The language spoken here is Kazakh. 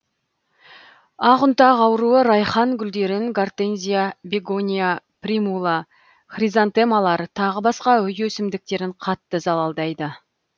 ақұнтақ ауруы райхан гүлдерін гортензия бегония примула хризантемалар тағы басқа үй өсімдіктерін қатты залалдайды